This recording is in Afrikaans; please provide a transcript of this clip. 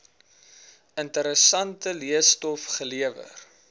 interessante leestof gelewer